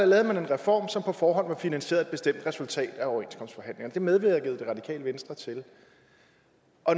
lavede man en reform som på forhånd var finansieret af et bestemt resultat af overenskomstforhandlingerne det medvirkede det radikale venstre til